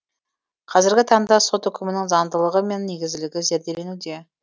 қазіргі таңда сот үкімінің заңдылығы мен негізділігі зерделенуде